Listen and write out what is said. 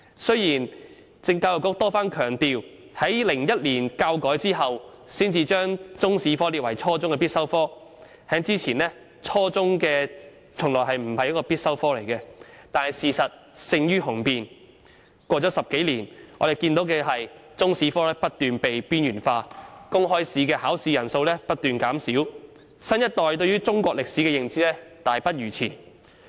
雖然教育局多番強調，在2001年教改後才把中史列為初中必修科，在此之前，中史從來不是初中必修科，但事實勝於雄辯 ，10 多年過去了，我們看到中史科不斷被邊緣化，公開試的考生人數不斷減少，新一代對中國歷史的認知大不如前。